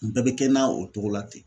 N bɛɛ bɛ kɛ na o togo la ten.